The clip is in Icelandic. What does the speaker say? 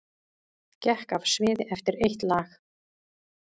Gekk af sviði eftir eitt lag